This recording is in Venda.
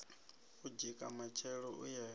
u dzika matshelo u ye